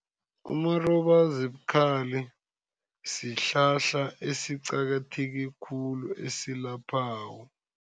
Umarobazibukhali sihlahla esiqakatheke khulu, esilaphako.